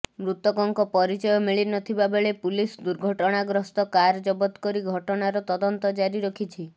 ମୃତକଙ୍କ ପରିଚୟ ମିଳ ନଥିବା ବେଳେ ପୁଲିସ ଦୁର୍ଘଟଣାଗ୍ରସ୍ତ କାର ଜବତ କରି ଘଟଣାର ତଦନ୍ତ ଜାରି ରଖିଛି